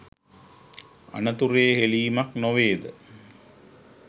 අනතුරේ හෙලීමක් නොවේ ද?